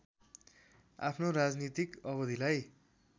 आफ्नो राजनीतिक अवधिलाई